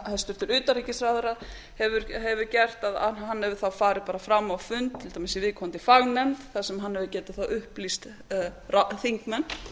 hæstvirtur utanríkisráðherra hefur gert hann hefur þá farið bara fram á fund til dæmis í viðkomandi fagnefnd þar sem hann hefur getað upplýst þingmenn